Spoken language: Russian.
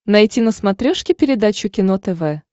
найти на смотрешке передачу кино тв